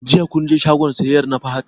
Jiya kun je shagon siyayyar na Fahad?